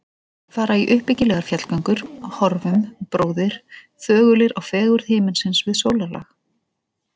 Fara í uppbyggilegar fjallgöngur: horfum, bróðir, þögulir á fegurð himinsins við sólarlag.